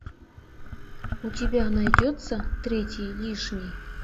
у тебя найдется третий лишний